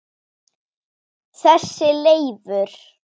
Kannski tveir.